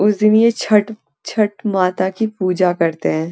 उस दिन ये छट छठ माता की पूजा करते हैं।